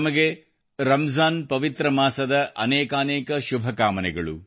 ತಮಗೆ ರಂಜಾನ್ ಪವಿತ್ರ ಮಾಸದ ಅನೇಕಾನೇಕ ಶುಭಕಾಮನೆಗಳು